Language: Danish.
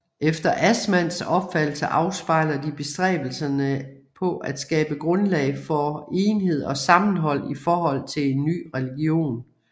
Efter Assmanns opfattelse afspejler de bestræbelserne på at skabe grundlag for enhed og sammenhold i forhold til en ny religion